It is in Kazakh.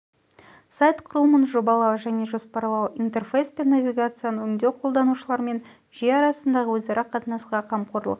сайт құрылымын жобалау және жоспарлау интерфейс пен навигацияны өңдеу қолданушылар мен жүйе арасындағы өзара қатынасқа қамқорлық